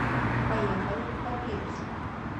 поехали папирус